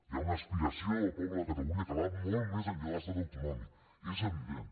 hi ha una aspiració del poble de catalunya que va molt més enllà de l’estat autonòmic és evident